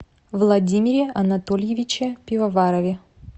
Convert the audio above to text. владимире анатольевиче пивоварове